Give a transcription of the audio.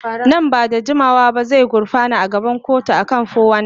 Nan ba da jimawa ba zai gurfana a gaban kotu kan 419.